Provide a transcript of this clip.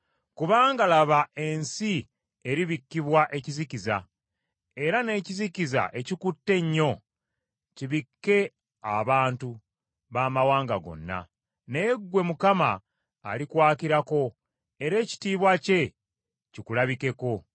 Kubanga laba ensi eribikkibwa ekizikiza era n’ekizikiza ekikutte ennyo kibikke abantu baamawanga gonna, naye ggwe Mukama alikwakirako era ekitiibwa kye kikulabikeko.